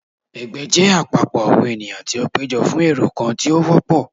Ẹgbẹ jẹ apapọ awọn eniyan ti o pejọ fún ẹrọ kan ti o wọpọ.